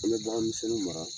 An be bagan misɛnnu mara